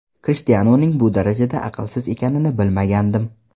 Krishtianuning bu darajada aqlsiz ekanini bilmagandim.